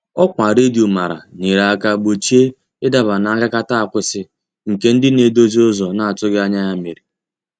Ọkwa redio mara nyere aka gbochie ị daba n' agakata akwụsị, nke ndị na-edozi ụzọ a na-atụghị anya mere.